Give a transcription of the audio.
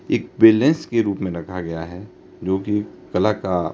एक बैलेंस के रूप में रखा गया है जो कि कला का--